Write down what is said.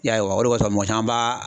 I y'a wa o de kɔsɔn mɔgɔ caman baa